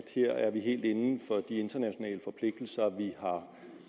her er helt inden for de internationale forpligtelser vi